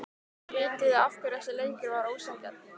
Vitiði af hverju þessi leikur var ósanngjarn?